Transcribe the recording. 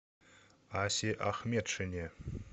асе ахметшине